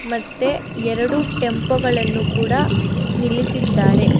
ಮತ್ತೆ ಎರಡು ಟೆಂಪೋ ಗಳನ್ನು ಕೂಡ ನಿಲ್ಲಿಸಿದ್ದಾರೆ.